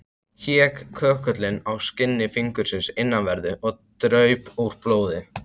Hékk köggullinn á skinni fingursins innanverðu, og draup úr blóð.